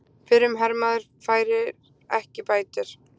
Fyrrum hermaður fær ekki bætur